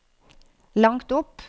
langt opp